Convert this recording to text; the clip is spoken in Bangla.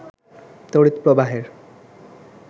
তড়িৎ প্রবাহের